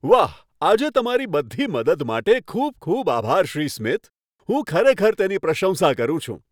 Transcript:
વાહ, આજે તમારી બધી મદદ માટે ખૂબ ખૂબ આભાર, શ્રી સ્મિથ. હું ખરેખર તેની પ્રશંસા કરું છું!